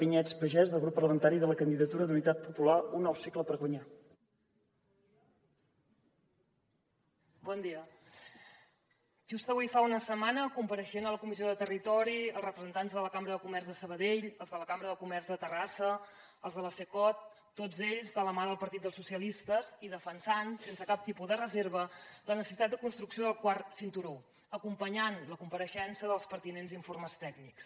just avui fa una setmana compareixien a la comissió de territori els representants de la cambra de comerç de sabadell els de la cambra de comerç de terrassa els de la cecot tots ells de la mà del partit dels socialistes i defensant sense cap tipus de reserva la necessitat de construcció del quart cinturó acompanyant la compareixença dels pertinents informes tècnics